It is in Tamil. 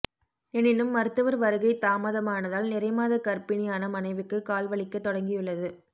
எனினும் மருத்துவர் வருகை தாமதமானதால் நிறைமாத கர்ப்பிணியான மனைவிக்கு கால் வலிக்கத் தொடங்கியுள்ளது